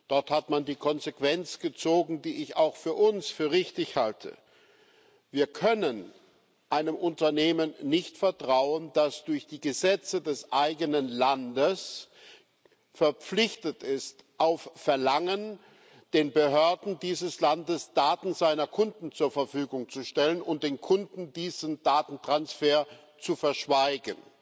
Dort hat man die Konsequenz gezogen, die ich auch für uns für richtig halte Wir können einem Unternehmen nicht vertrauen, das durch die Gesetze des eigenen Landes verpflichtet ist, auf Verlangen den Behörden dieses Landes Daten seiner Kunden zur Verfügung zu stellen und den Kunden diesen Datentransfer zu verschweigen.